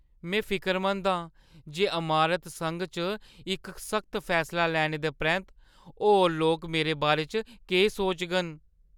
में फिकरमंद आं जे अमारत संघ च इक सख्त फैसला लैने दे परैंत्त होर लोक मेरे बारे च केह् सोचङन।